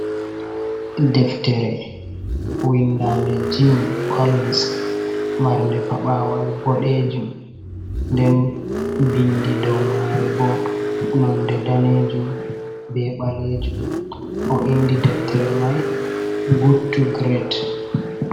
Deftere! windande jim collins. Marde pa6awal bodejum. Nden, bindi dow mare bo; nonde danejum be ɓalejum. O indi deftere mai "Good to Great".